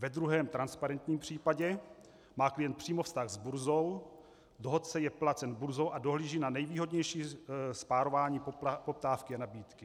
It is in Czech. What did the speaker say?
Ve druhém, transparentním případě má klient přímo vztah s burzou, dohodce je placen burzou a dohlíží na nejvýhodnější spárování poptávky a nabídky.